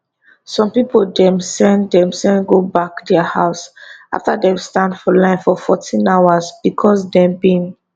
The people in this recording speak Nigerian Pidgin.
some pipo dem send dem go back dia house afta dem stand for line for 14 hours becos dem bin